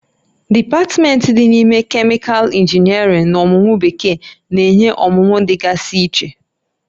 Dipatmentị dị n'ime Kemịkalụ Injiniarịn na ọmụmụ Bekee na-enye ọmụmụ dị gasị iche